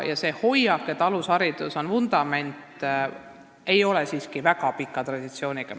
Ja see hoiak, et alusharidus on vundament, ei ole meil siiski väga pika traditsiooniga.